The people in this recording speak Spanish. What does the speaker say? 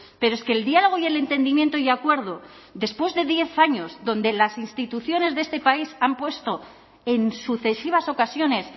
pero es que el diálogo y el entendimiento y acuerdo después de diez años donde las instituciones de este país han puesto en sucesivas ocasiones